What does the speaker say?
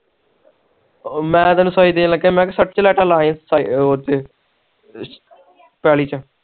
ਉਹ ਮੈਂ ਤੈਨੂੰ ਸੀ ਦੇਣ ਲਗਾ ਮੈਂ ਕਿਹਾ ਸਤਿ ਪਲਾਟ ਲੈ ਈ ਉਹ ਪੈਲੀ ਚ